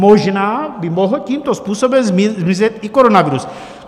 Možná by mohl tímto způsobem zmizet i koronavirus.